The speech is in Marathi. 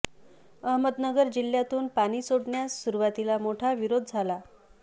अहमदनगर जिल्ह्यातून पाणी सोडण्यास सुरूवातीला मोठा विरोध झाला